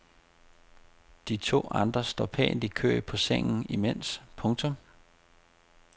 De to andre står pænt i kø på sengen imens. punktum